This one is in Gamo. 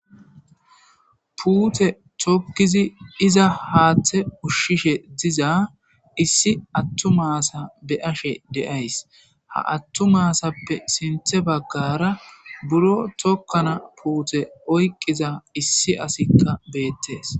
puute tokkizi iza haaththe ushshishe diza issi attu maasa be ashe deays ha attu maasappe sinthe baggara buro tokkana puute oyqqiza issi asikka beettees